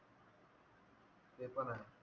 ते पण आहे